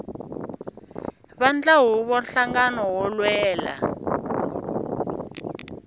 vandla huvo nhlangano wo lwela